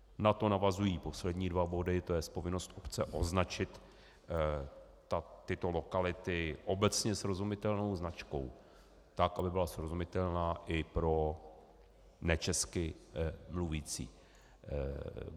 Na to navazují poslední dva body, to jest povinnost obce označit tyto lokality obecně srozumitelnou značkou tak, aby byla srozumitelná i pro nečesky mluvící.